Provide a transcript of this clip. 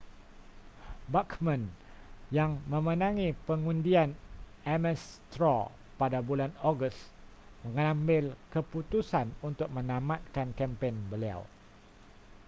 bachmann yang memenangi pengundian ames straw pada bulan ogos mengambil keputusan untuk menamatkan kempen beliau